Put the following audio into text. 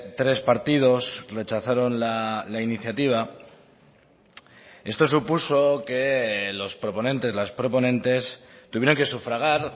tres partidos rechazaron la iniciativa esto supuso que los proponentes las proponentes tuvieran que sufragar